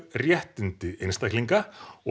réttindi einstaklinga og